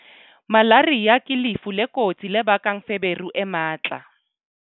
Malaria ke lefu le kotsi le bakang feberu e matla.